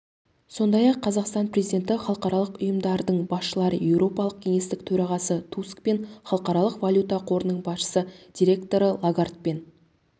сондай-ақ қазақстан президенті халықаралық ұйымдардың басшылары еуропалық кеңестің төрағасы тускпен халықаралық валюта қорының басқарушы директоры лагардпен